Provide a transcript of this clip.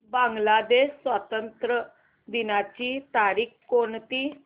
बांग्लादेश स्वातंत्र्य दिनाची तारीख कोणती